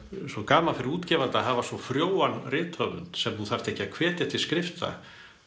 svo gaman fyrir útgefanda að hafa svo frjóan rithöfund sem þú þarft ekki að hvetja til skrifta